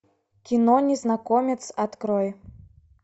кино незнакомец открой